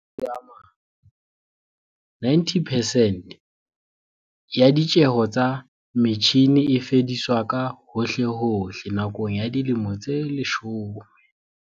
Ka mantswe a mang, 90 percent ya ditjeho tsa metjhine e fediswa ka hohlehohle nakong ya dilemo tse leshome.